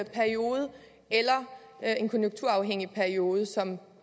periode eller en konjunkturafhængig periode som